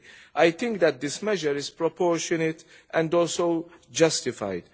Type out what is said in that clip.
30. I think that this measure is proportionate and justified.